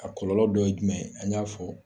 A kɔlɔlɔ dɔ ye jumɛn a y'a fɔ.